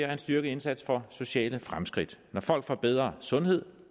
er en styrket indsats for sociale fremskridt når folk får bedre sundhed